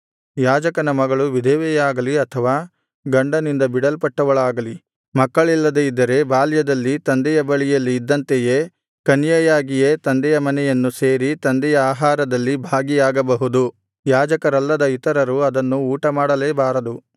ಯಾಜಕನ ಮಗಳು ವಿಧವೆಯಾಗಲಿ ಅಥವಾ ಗಂಡನಿಂದ ಬಿಡಲ್ಪಟ್ಟವಳಾಗಲಿ ಮಕ್ಕಳಿಲ್ಲದೆ ಇದ್ದರೆ ಬಾಲ್ಯದಲ್ಲಿ ತಂದೆಯ ಬಳಿಯಲ್ಲಿ ಇದ್ದಂತೆಯೇ ಕನ್ಯೆಯಾಗಿಯೇ ತಂದೆಯ ಮನೆಯನ್ನು ಸೇರಿ ತಂದೆಯ ಆಹಾರದಲ್ಲಿ ಭಾಗಿಯಾಗಬಹುದು ಯಾಜಕರಲ್ಲದ ಇತರರು ಅದನ್ನು ಊಟಮಾಡಲೇಬಾರದು